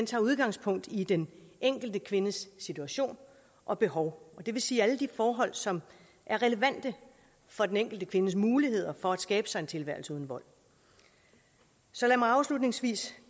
tager udgangspunkt i den enkelte kvindes situation og behov og det vil sige alle de forhold som er relevante for den enkelte kvindes muligheder for at skabe sig en tilværelse uden vold så lad mig afslutningsvis